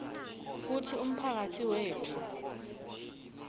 kutsi umphakatsi wetfu